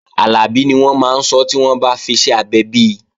Àlàbí ni wọ́n máa sọ́ tí wọ́n bá fiṣẹ́ abẹ bi